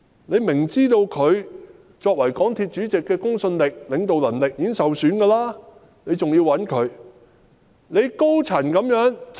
政府清楚知道他作為港鐵公司主席的公信力和領導能力已受損，但還是要委以重任。